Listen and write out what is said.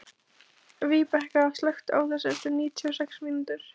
Víbekka, slökktu á þessu eftir níutíu og sex mínútur.